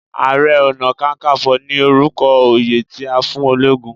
Àrẹ-ọ̀nà-kákanfọ̀ ni orúkọ oyè tí a fún ológun.